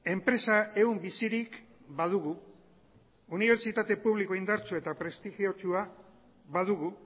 enpresa ehun bizirik badugu unibertsitate publikoa indartsua eta prestigiotsua badugu